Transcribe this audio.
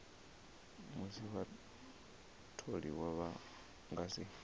musi vhatholiwa vha nga si